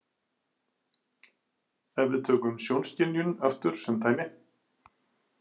Ef við tökum sjónskynjun aftur sem dæmi.